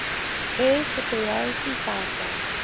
air superiority fighter